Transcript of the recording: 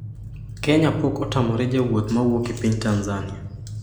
Kenya pok otamre jowuoth mawuok e piny Tanzania.